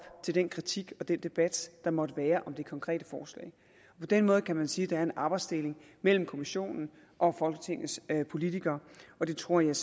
til den kritik og den debat der måtte være om det konkrete forslag på den måde kan man sige at der er en arbejdsdeling mellem kommissionen og folketingets politikere og det tror jeg